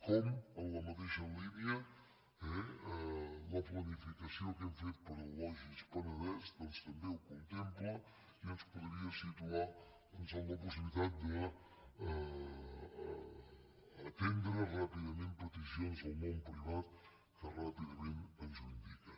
com en la mateixa línia eh la planificació que hem fet per al logis penedès doncs també ho contempla i ens podria situar en la possibilitat d’atendre ràpidament peticions del món privat que ràpidament ens ho indiquen